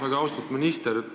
Väga austatud minister!